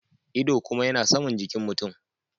Ido kuma yana Saman jikin mutum.